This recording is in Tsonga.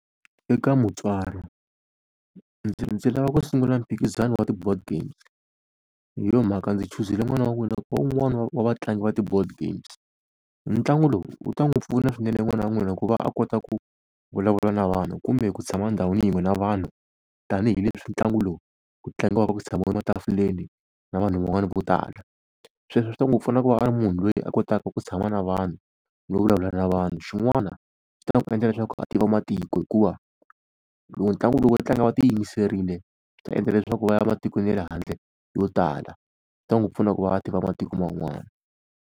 Eka mutswari ndzi ndzi lava ku sungula mphikizano wa ti-board games hi yo mhaka ndzi chuzile n'wana wa n'wina, ku va wun'wani wa vatlangi va ti-board games. Ntlangu lowu wu ta n'wi pfuna swinene n'wana wa n'wina ku va a kota ku vulavula na vanhu kumbe ku tshama ndhawini yin'we na vanhu tanihileswi ntlangu lowu ku tlangiwaka ku tshamiwile matafuleni na vanhu van'wana vo tala. Sweswo swi ta n'wi pfuna ku va a ri munhu loyi a kotaka ku tshama na vanhu no vulavula na vanhu. Xin'wana swi ta n'wi endla leswaku a tiva matiko hikuva loko ntlangu lowu wo tlanga va ti yimiserile swi ta endla leswaku va ya ematikweni ya le handle yo tala. Swi ta n'wi pfuna ku va a tiva matiko man'wana.